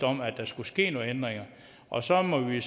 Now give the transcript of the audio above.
om at der skulle ske nogle ændringer og så må vi